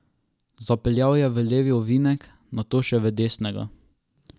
Zapeljal je v levi ovinek, nato še v desnega.